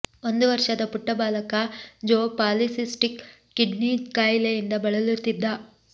ಒಂದು ವರ್ಷದ ಪುಟ್ಟ ಬಾಲಕ ಜೋ ಪಾಲಿಸಿಸ್ಟಿಕ್ ಕಿಡ್ನಿ ಖಾಯಿಲೆಯಿಂದ ಬಳಲುತ್ತಿದ್ದ